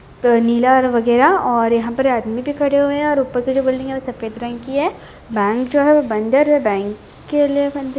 नीला वगैरह और यहां आदमी खड़े है और ऊपर से जो बिल्डिंग है वो सफ़ेद रंग की है और बैंक जो है वो बंदर है बैंक के लिए--